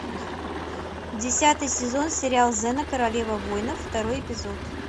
десятый сезон сериал зена королева войнов второй эпизод